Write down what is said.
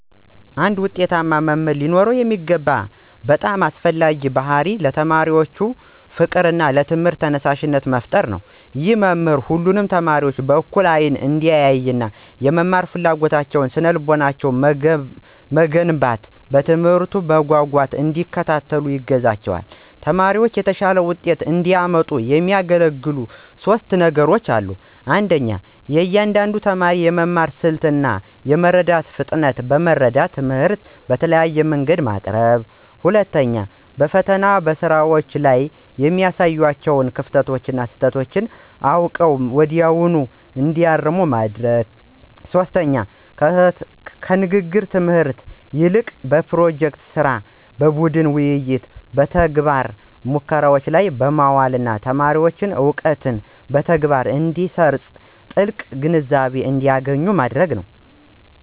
አንድ ውጤታማ መምህር ሊኖረው የሚገባው በጣም አስፈላጊው ባሕርይ ለተማሪዎች ፍቅርና ለትምህርቱ ተነሳሽነት መፍጠር ነው። ይህ መምህሩ ሁሉንም ተማሪዎች በእኩል አይን እንዲያይና፣ የመማር ፍላጎታቸውንና ስነ-ልቦናቸውን በመገንባት፣ ትምህርቱን በጉጉት እንዲከታተሉ ያግዛቸዋል። ተማሪዎችም የተሻለ ውጤት እንዲያመጡ የሚያገለግሉ ሦስት የተለዩ ዘዴዎች 1. የእያንዳንዱን ተማሪ የመማር ስልት እና የመረዳት ፍጥነት በመረዳት፣ ትምህርቱን በተለያየ መንገድ ማቅረብ። 2. ተማሪዎች በፈተናዎችና በስራዎች ላይ የሚያሳዩዋቸውን ክፍተቶችና ስህተቶች አውቀው ወዲያውኑ እንዲያርሙ መርዳት። 3. ከንግግር ትምህርት ይልቅ በፕሮጀክት ሥራ፣ በቡድን ውይይትና በተግባራዊ ሙከራዎች ላይ በማዋል ተማሪዎች እውቀትን በተግባር እንዲያሰርፁና ጥልቅ ግንዛቤ እንዲያገኙ ማድረግ።